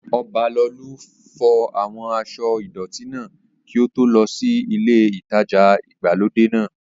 Ọbalolú fọ àwọn aṣọ́ ìdọ̀tí náà kí ó tó lọ sí ilé ìtajà ìgbàlódé náà